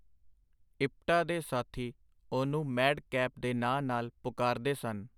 ਇਪਟਾ ਦੇ ਸਾਥੀ ਉਹਨੂੰ ਮੈਡ-ਕੈਪ ਦੇ ਨਾਂ ਨਾਲ ਪੁਕਾਰਦੇ ਸਨ.